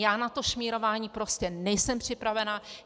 Já na to šmírování prostě nejsem připravená.